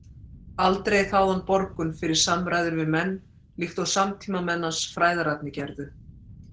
Aldrei þáði hann borgun fyrir samræður við menn, líkt og samtímamenn hans fræðararnir gerðu.